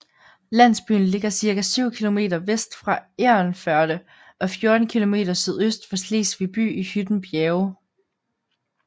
Landsbyen ligger cirka 7 kilometer vest for Egernførde og 14 kilometer sydøst for Slesvig by i Hytten Bjerge